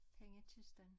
Pengekisten